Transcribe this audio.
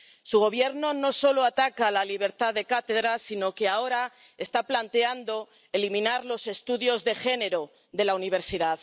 Su Gobierno no solo ataca la libertad de cátedra, sino que ahora está planteando eliminar los estudios de género de la universidad.